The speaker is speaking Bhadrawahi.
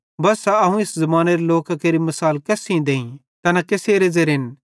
बस्सा अवं इस ज़मानेरे लोकां केरि मिसाल केस सेइं देईं तैना केसेरे ज़ेरेन